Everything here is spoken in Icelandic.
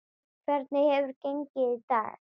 Hvernig hefur gengið í dag?